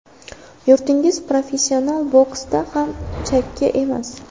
Yurtingiz professional boksda ham chakki emas.